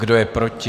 Kdo je proti?